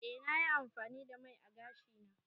Eh na yi amfani da mai ã gashi na.